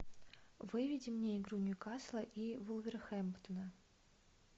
выведи мне игру ньюкасла и вулверхэмптона